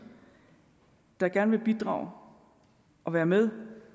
der gerne vil bidrage og være med